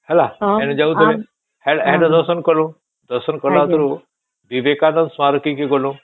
ହେଲା ଯାଉଥିଲୁ ସେହି ଦର୍ଶନ କଲୁ ଦର୍ଶନ କଲା ଉତ୍ତାରୁ ବିବେକାନନ୍ଦ ସ୍ମାରକ କେ ଗଲୁ